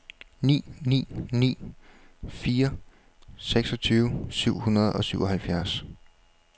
ni ni ni fire seksogtyve syv hundrede og syvoghalvfjerds